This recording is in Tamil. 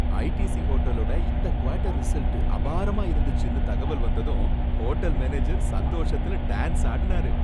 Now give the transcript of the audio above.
ஐடிசி ஹோட்டலோட இந்த குவாட்டர் ரிசல்ட் அபாரமா இருந்துச்சுன்னு தகவல் வந்ததும் ஹோட்டல் மேனேஜர் சந்தோஷத்துல டான்ஸ் ஆடுனாரு.